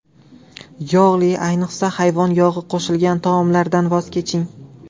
Yog‘li, ayniqsa hayvon yog‘i qo‘shilgan taomlardan voz keching.